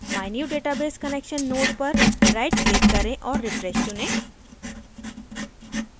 mynewdatabase connection node पर right click करें और refresh चुनें